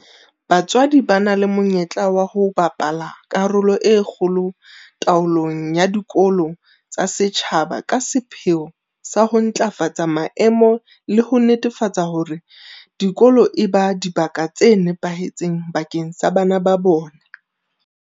BaTswadi ba na le monyetla wa ho bapala karolo e kgolo taolong ya dikolo tsa setjhaba ka sepheo sa ho ntlafatsa maemo le ho netefatsa hore dikolo eba dibaka tse nepahetseng bakeng sa bana ba bona.